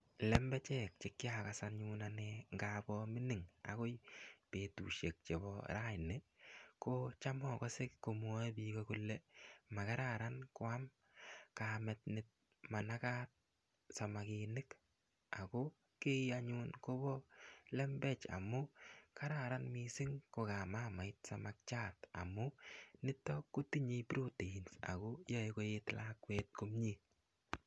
Lembechek che kiakas anyun anee ngabo mining', akoi betusiek chebo raini, kocham akase komwae biik kole makararan koam kamet ne manakat samakinik. Ako kii anyun kobo lembech amu kararan missing ko kaam mamait samakiat amu niton kotinye proteins akoyae koet lakwet komyee.